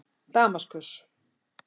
Damaskus